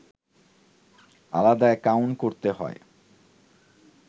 আলাদা অ্যাকাউন্ট করতে হয়